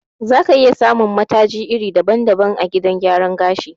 Za ka iya samun mataji iri daban-daban a gidan gyaran gashi.